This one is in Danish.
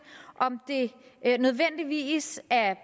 om det nødvendigvis er